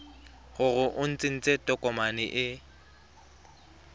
gore o tsentse tokomane e